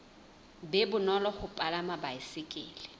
be bonolo ho palama baesekele